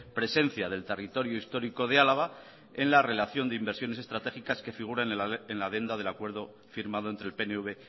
presencia del territorio histórico de álava en la relación de inversiones estratégicas que figuren en la adenda del acuerdo firmado entre el pnv